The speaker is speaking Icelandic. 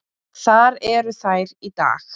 Þar eru þær í dag.